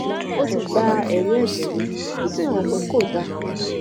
ó ti gba ẹrí ẹjẹ mi ó sì hàn pé kò dáa